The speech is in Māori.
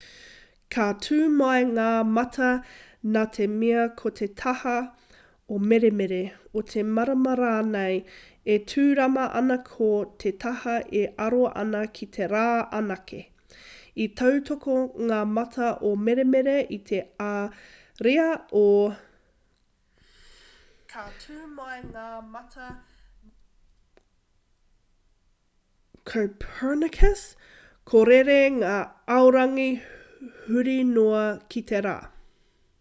ka tū mai ngā mata nā te mea ko te taha o meremere o te marama rānei e tūrama ana ko te taha e aro ana ki te rā anake. i tautoko ngā mata o meremere i te ariā o copernicus ka rere ngā aorangi huri noa i te rā